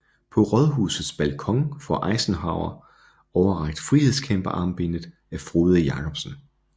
På Rådhusets balkon får Eisenhower overrakt frihedskæmperarmbindet af Frode Jacobsen